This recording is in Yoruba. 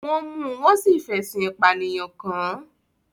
Wọ́n mú un, wọ́n sì fẹ̀sùn ìpànìyàn kàn án